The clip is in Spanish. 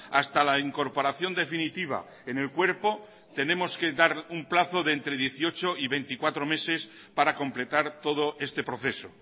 hasta la incorporación definitiva en el cuerpo tenemos que dar un plazo de entre dieciocho y veinticuatro meses para completar todo este proceso